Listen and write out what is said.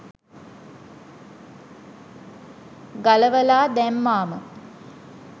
ගලවලා දැම්මාම